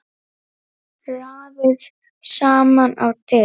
Raðið saman á disk.